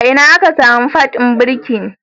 Ina aka samu pad ɗin birki?